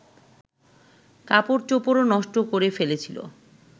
কাপড়চোপড়ও নষ্ট করে ফেলেছিল